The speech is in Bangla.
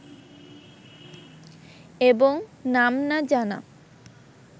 এবং নাম না জানা